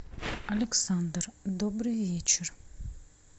александр добрый вечер